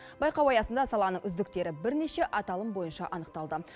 байқау аясында саланың үздіктері бірнеше аталым бойынша анықталды